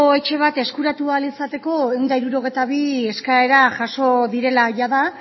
etxe bat eskuratu ahal izateko ehun eta hirurogeita bi eskaera jasa direla jada